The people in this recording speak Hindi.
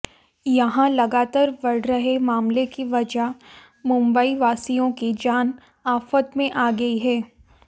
यहां लगातार बढ़ रहे मामले की वजह मुंबईवासियों की जान आफत में आ गई है